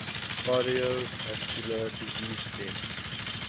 cardiovascular disease deaths